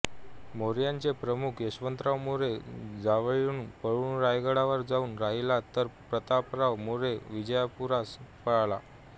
मोऱ्यांचा प्रमुख यशवंतराव मोरे जावळीहून पळून रायगडावर जाऊन राहिला तर प्रतापराव मोरे विजापुरास पळाला